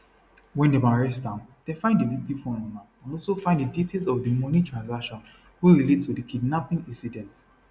wen dem arrest am dem find di victim phone on am and also find details of di money transation wey relate to di kidnapping incident